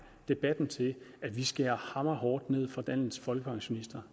debatten til at vi skærer hammer hårdt ned over for landets folkepensionister